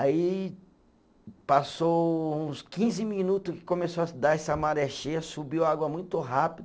Aí passou uns quinze minuto que começou a dar essa maré cheia, subiu água muito rápido.